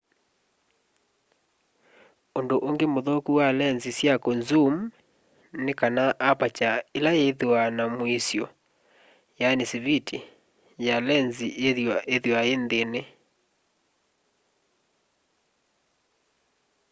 undu ungi muthuku wa lenzi sya kunzuum ni kana aparture ila ithwaa na mwiso siviti ya lenzi yithwaa yi nthi